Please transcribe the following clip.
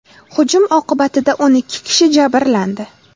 Hujum oqibatida o‘n kishi jabrlandi.